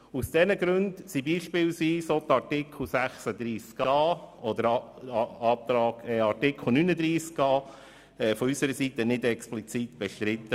Aus diesen Gründen wurden von unserer Seite zum Beispiel auch die Artikel 36a und 39a nicht explizit bestritten.